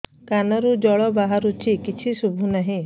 କାନରୁ ଜଳ ବାହାରୁଛି କିଛି ଶୁଭୁ ନାହିଁ